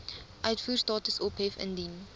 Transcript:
uitvoerstatus ophef indien